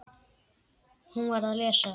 Hún var að lesa